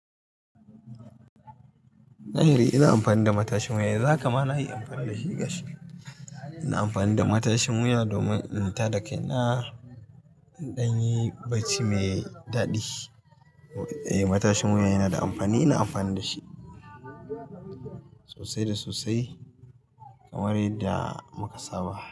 Za hi ri, ina an amfani da matashin wuya, yanzu haka ma na yi amfani da shi gashi, ina amfani da matashin wuya domin in tada kaina, in ɗan yi bacci mai daɗi. Eh, matashin wuya yana da amfani, ina amfani da shi sosai da sosai kamar yadda muka saba.